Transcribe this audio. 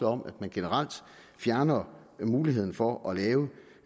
om at man generelt fjerner muligheden for at lave